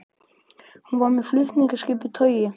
Hún var með flutningaskip í togi.